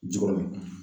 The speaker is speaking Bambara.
Ji kɔnɔ